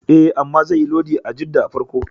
E, amma zaiyi lodi a Jidda farko.